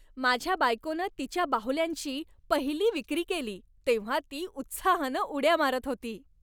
माझ्या बायकोनं तिच्या बाहुल्यांची पहिली विक्री केली तेव्हा ती उत्साहानं उड्या मारत होती.